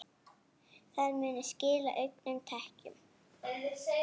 Það muni skila auknum tekjum.